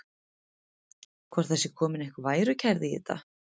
Hvort það sé komin einhver værukærð í þetta?